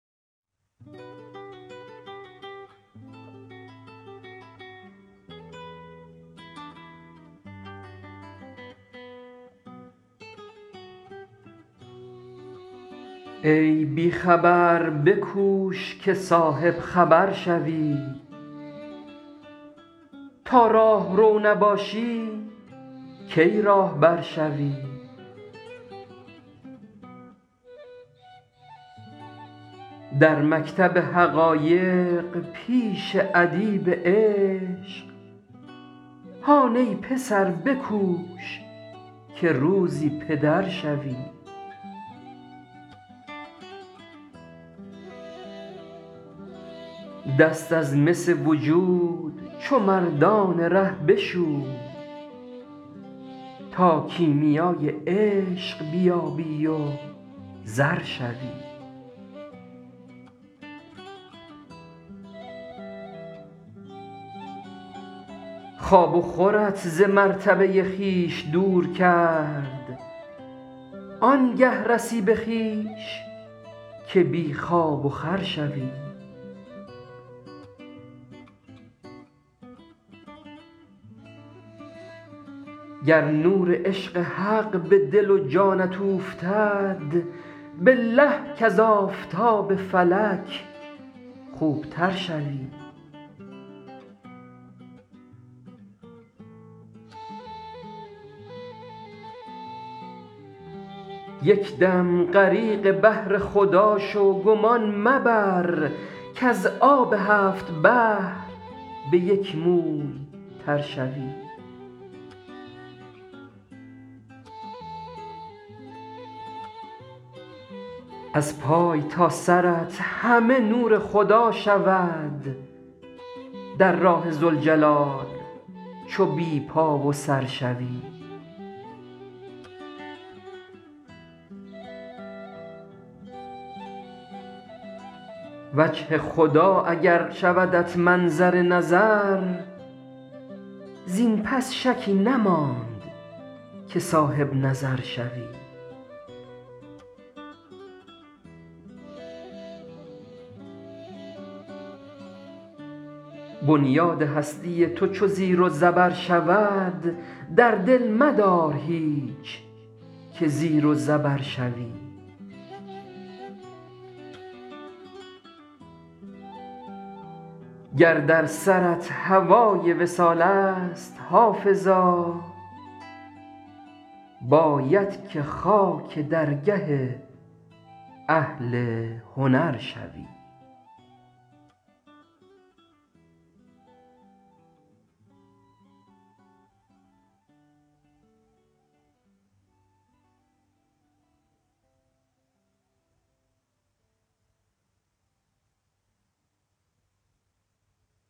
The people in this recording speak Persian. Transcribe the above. ای بی خبر بکوش که صاحب خبر شوی تا راهرو نباشی کی راهبر شوی در مکتب حقایق پیش ادیب عشق هان ای پسر بکوش که روزی پدر شوی دست از مس وجود چو مردان ره بشوی تا کیمیای عشق بیابی و زر شوی خواب و خورت ز مرتبه خویش دور کرد آن گه رسی به خویش که بی خواب و خور شوی گر نور عشق حق به دل و جانت اوفتد بالله کز آفتاب فلک خوب تر شوی یک دم غریق بحر خدا شو گمان مبر کز آب هفت بحر به یک موی تر شوی از پای تا سرت همه نور خدا شود در راه ذوالجلال چو بی پا و سر شوی وجه خدا اگر شودت منظر نظر زین پس شکی نماند که صاحب نظر شوی بنیاد هستی تو چو زیر و زبر شود در دل مدار هیچ که زیر و زبر شوی گر در سرت هوای وصال است حافظا باید که خاک درگه اهل هنر شوی